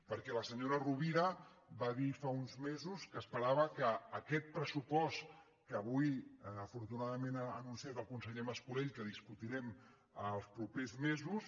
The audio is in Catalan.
perquè la senyora rovira va dir fa uns mesos que esperava que aquest pressupost que avui afortunadament ha anunciat el conseller mas colell que discutirem els propers mesos